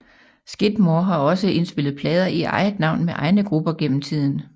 Skidmore har også indspillet plader i eget navn med egne grupper gennem tiden